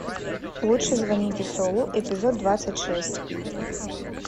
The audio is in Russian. лучше звоните солу эпизод двадцать шесть